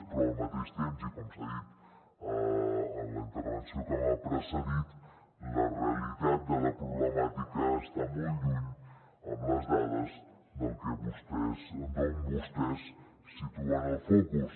però al mateix temps i com s’ha dit en la intervenció que m’ha precedit la realitat de la problemàtica està molt lluny amb les dades d’on vostès situen el focus